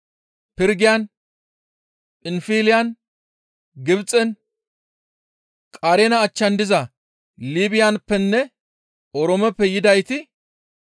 Pirgiyan, Phinfiliyan, Gibxen, Qareena achchan diza Liibiyappenne Oroomeppe yidayti